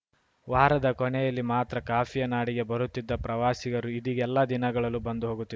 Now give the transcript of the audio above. ವಾರದ ಕೊನೆಯಲ್ಲಿ ಮಾತ್ರ ಕಾಫಿಯ ನಾಡಿಗೆ ಬರುತ್ತಿದ್ದ ಪ್ರವಾಸಿಗರು ಇದೀಗ ಎಲ್ಲ ದಿನಗಳಲ್ಲೂ ಬಂದು ಹೋಗುತ್ತಿ